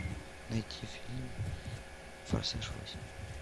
найти фильм форсаж восемь